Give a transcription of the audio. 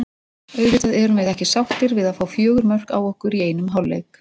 Auðvitað erum við ekki sáttir við að fá fjögur mörk á okkur í einum hálfleik.